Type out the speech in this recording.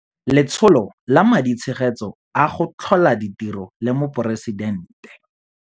Letsholo la Maditshegetso a go Tlhola Ditiro la Moporesitente